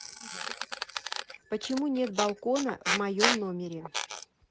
почему нет балкона в моем номере